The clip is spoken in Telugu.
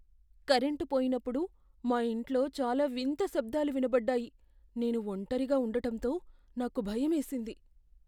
కరెంటు పోయినప్పుడు, మా ఇంట్లో చాలా వింత శబ్దాలు వినబడ్డాయి, నేను ఒంటరిగా ఉండటంతో నాకు భయమేసింది.